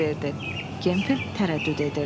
Gemfild tərəddüd edirdi.